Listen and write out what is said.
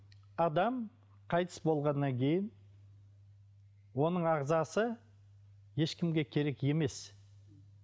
адам қайтыс болғаннан кейін оның ағзасы ешкімге керек емес